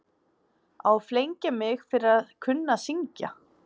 Á að flengja mig fyrir að kunna að syngja?